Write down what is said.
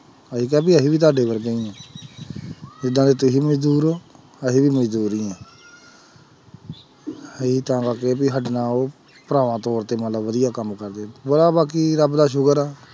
ਅਸੀਂ ਕਿਹਾ ਵੀ ਅਸੀਂ ਵੀ ਤੁਹਾਡੇ ਵਰਗੇ ਹੀ ਹਾਂ ਜਿੱਦਾਂ ਦੇ ਤੁਸੀਂ ਮਜ਼ਦੂਰ ਹੋ ਅਸੀਂ ਵੀ ਮਜ਼ਦੂਰ ਹੀ ਹਾਂ ਅਸੀਂ ਚਾਵਾਂਗੇ ਵੀ ਸਾਡੇ ਨਾਲ ਉਹ ਭਰਾਵਾਂ ਤੌਰ ਤੇ ਮਤਲਬ ਵਧੀਆ ਕੰਮ ਕਰਦੇ, ਬੜਾ ਬਾਕੀ ਰੱਬ ਦਾ ਸ਼ੁਕਰ ਆ।